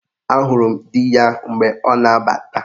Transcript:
Ahụrụ m dị ya mgbe ọ na-abata